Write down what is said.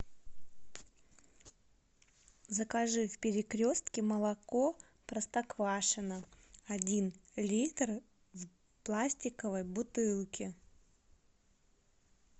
закажи в перекрестке молоко простоквашино один литр в пластиковой бутылке